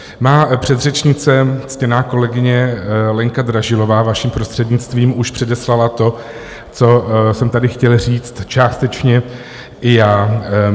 Má předřečnice, ctěná kolegyně Lenka Dražilová, vaším prostřednictvím, už předeslala to, co jsem tady chtěl říct částečně i já.